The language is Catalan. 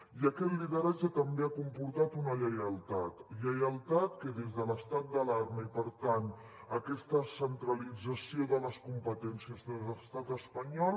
i aquest lideratge també ha comportat una lleialtat lleialtat que des de l’estat d’alarma i per tant aquesta centralització de les competències de l’estat espanyol